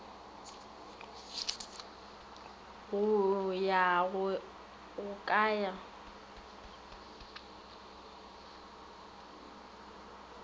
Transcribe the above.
go ya go ka ya